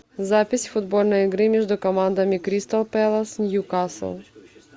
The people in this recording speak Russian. запись футбольной игры между командами кристал пэлас ньюкасл